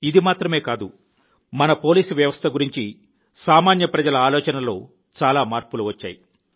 ఇది మాత్రమే కాదు మన పోలీసు వ్యవస్థ గురించి సామాన్య ప్రజల ఆలోచనలో చాలా మార్పులు వచ్చాయి